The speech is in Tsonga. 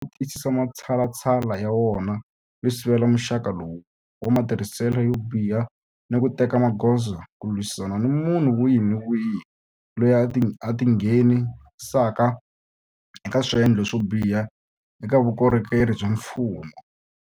Wu tiyisisa matshalatshala ya wona yo sivela muxaka lowu wa matirhiselo yo biha ni ku teka magoza ku lwisana ni munhu wihi ni wihi loyi a tinghenisaka eka swendlo swo biha eka vukorhokeri bya mfumo.